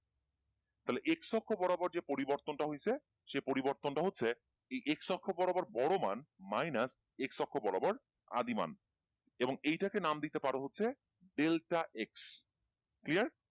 তাহলে x অক্ষ বরাবর যে পরিবর্তন টা হইছে সেই পরিবর্তনটা হচ্ছে এই x অক্ষ বরাবর বড় মান minus x অক্ষ বরাবর আদি মান এবং এইটাকে নাম দিতে পারো হচ্ছে delta x clear?